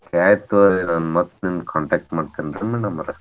ಆಯಿತ್ ತಗೋರಿ ನಾನ್ ಮತ್ ನಿಮಗ್ contact ಮಾಡ್ತೇನ್ರಿ madam ಅವ್ರ.